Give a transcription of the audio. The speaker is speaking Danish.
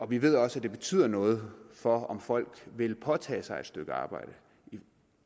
vi ved også at det betyder noget for om folk vil påtage sig et stykke arbejde